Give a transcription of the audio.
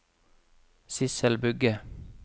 Sidsel Bugge